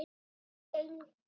Fyrst gengu